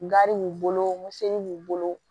Gari b'u bolo miseli b'u bolo